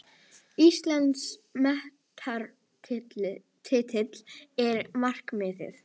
Íslandsmeistaratitillinn er markmiðið